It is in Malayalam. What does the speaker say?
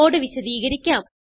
കോഡ് വിശദീകരിക്കാം